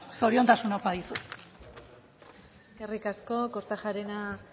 zoriontasuna opa dizut eskerrik asko kortajarena